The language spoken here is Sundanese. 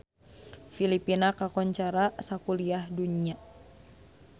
Filipina kakoncara sakuliah dunya